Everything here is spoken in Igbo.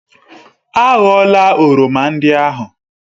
A ghọla oroma ndị ahụ!